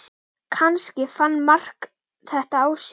Kannski fann Mark þetta á sér.